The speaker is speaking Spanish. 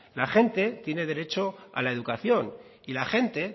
la gente tiene derecho a la educación y la gente